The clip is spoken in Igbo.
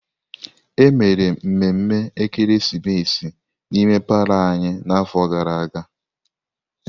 Emere mmemme ekeresimesi n'ime palọ anyị n'afọ gara aga.